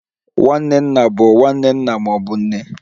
Nwanne nna bụ nwanne nna ma ọ bụ nne.